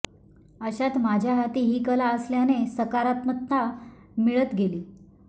अशात माझ्या हाती ही कला असल्याने सकारात्मकता मिळत गेली